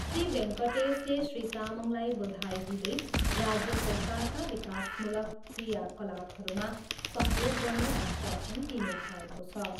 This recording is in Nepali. श्री भेङ्कटेसले श्री तामङलाई बधाई दिँदै राज्य सरकारका विकासमूलक क्रियाकलापहरूमा सहयोग गर्ने आश्वसन दिनुभएको छ।